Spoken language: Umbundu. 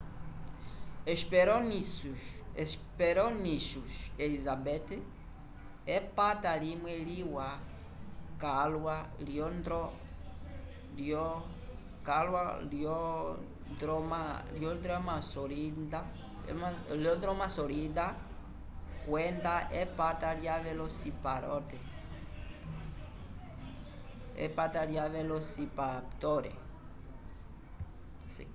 hesperonychus elizabeth epata limwe liwa calwa lyo dromaeosaurida kwenda epata lya velociraptor